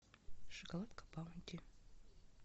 шоколадка баунти